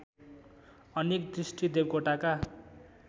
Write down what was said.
अनेक दृष्टि देवकोटाका